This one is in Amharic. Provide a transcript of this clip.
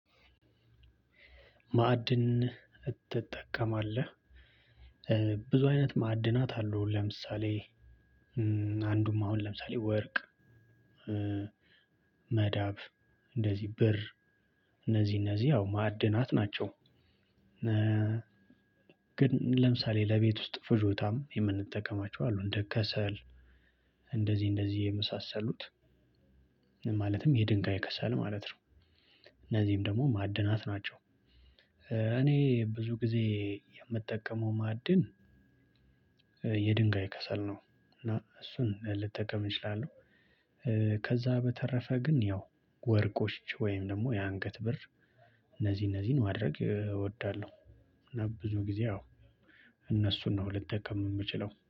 ማዕድን ትጠቀማለህ ብዙ አይነት ማዕድናት አሉ? ለምሳሌ አንዱም አሁን ለምሳሌ ወርቅ መዳብ እንደዚህ ብር እነዚህ እነዚህ ያው ማዕድናት ናቸው። ግን ለምሳሌ ለቤት ውስጥ ፍጆታም የምንጠቀማቸው አሉ እንደ ከሰል እንደዚህ እንደዚህ የመሳሰሉት ማለትም የድንጋይ ከሰል ማለት ነው። እነዚህም ደግሞ ማዕድናት ናቸው። እኔ ብዙ ጊዜ የምጠቀመው ማዕድን የድንጋይ ከሰል ነው። እና እሱን ልጠቀም እችላለሁ። ከዛ በተረፈ ግን ያው ወርቆች ወይም ደግሞ የአንገት ብር እነዚህ እነዚህን ማድረግ እወዳለሁ። እና ብዙ ጊዜ አዎ እነሱን ነው ልትጠቀም የምችለው